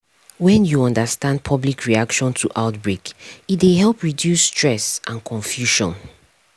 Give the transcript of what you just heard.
when you understand public reaction to outbreak e dey help reduce stress and confusion